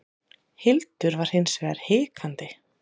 Hildur var hins vegar hikandi.